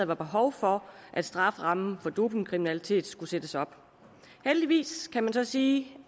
var behov for at strafferammen for dopingkriminalitet skulle sættes op heldigvis kan man så sige